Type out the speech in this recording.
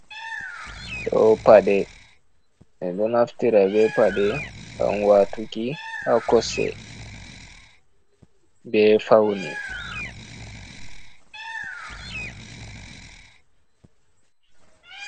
Ɗo paɗe, ɓeɗo naftira be paɗe ngam watuki ha kosɗe be faune.